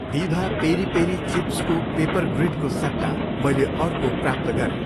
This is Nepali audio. दिभा पेरी पेरी चिप्सको पेपरग्रिडको सट्टा मैले अर्को प्राप्त गरेँ।